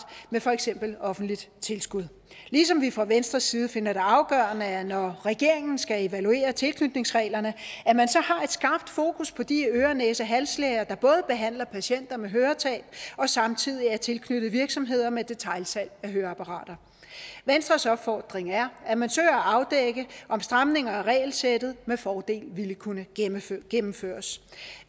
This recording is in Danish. med for eksempel offentligt tilskud ligesom vi fra venstres side finder det afgørende når regeringen skal evaluere tilknytningsreglerne at man så har et skarpt fokus på de øre næse og halslæger der både behandler patienter med høretab og samtidig er tilknyttet virksomheder med detailsalg af høreapparater venstres opfordring er at man søger at afdække om stramninger af regelsættet med fordel ville kunne gennemføres gennemføres